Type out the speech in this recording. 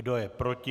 Kdo je proti?